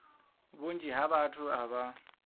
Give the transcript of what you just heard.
vhunzhi ha vhathu a vha